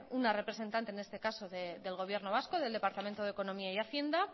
una representante n este caso del gobierno vasco del departamento de economía y hacienda